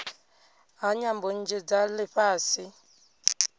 ha nyambo nnzhi dza lifhasi